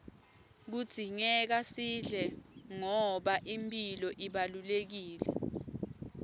kudzingeka sidle ngoba imphilo ibalulekile